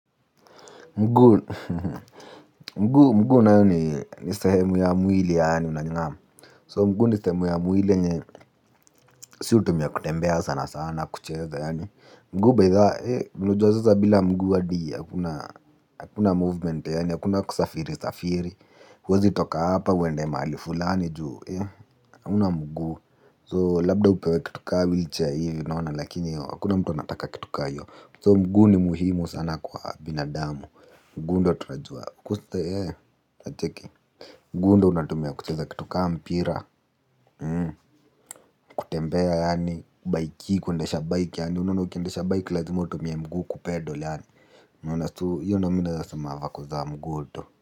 Mguu mguu mguu nayo ni ni sehemu ya mwili yaani unanyang'amu So mguu ni sehemu ya mwili yenye si hutumia kutembea sana sana kucheza yaani mguu baithaa eh unajua sasa bila mguu hadi hakuna movement yaani hakuna kusafiri safiri. Huwezi toka hapa uende mali fulani juu eh. Hauna mguu so labda upewe kitu ka wheel chaira hivi unaona lakini hiyo hakuna mtu nataka kitu ka hiyo So mguu ni muhimu sana kwa binadamu. Mguu ndio tunajua kusta yee unacheki. Mguu ndio unatumia kutuweza kitu kaa mpira Hmm kutembea yaani kubayki kundesha bike yaani unaona ukindesha bike lazima utumie mguu kupedo yaani umeona so hiyo ndio mi naweza sema vako za mguu tu.